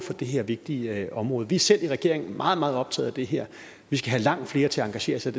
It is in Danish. det her vigtige område vi er selv i regeringen meget meget optaget af det her vi skal have langt flere til at engagere sig